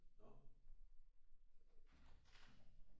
Nå